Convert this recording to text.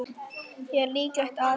Er líklegt að